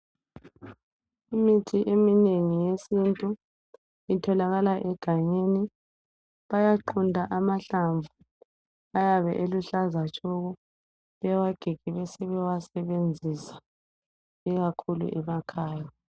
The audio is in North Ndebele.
Imithi eminengi yesintu itholakala egangeni, bayaqunta amahlamvu ayabe eluhlaza tshoko bewagige besebewasebenzisa ikakhulu emakhaya.